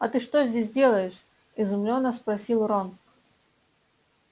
а ты что здесь делаешь изумлённо спросил рон